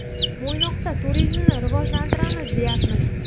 Mo‘ynoqda turizmni rivojlantiramiz, deyapmiz.